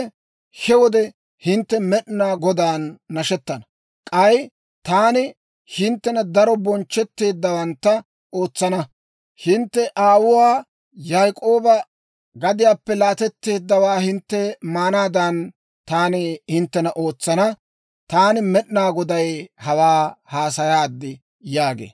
he wode hintte Med'inaa Godaan nashettana. K'ay taani hinttena daro bonchchetteeddawantta ootsana; hintte aawuwaa Yaak'ooba gadiyaappe laatetteeddawaa hintte maanaadan, taani hinttena ootsana. Taani Med'inaa Goday hawaa haasayaad» yaagee.